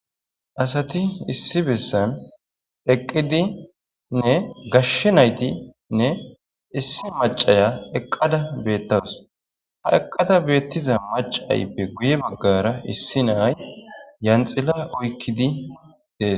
Asati issi boottan eqidinne gashshe naytinne issi macaya eqada betawuss ha eqada betiza macayippe guye baggara issi nayi lanxila oykiddi des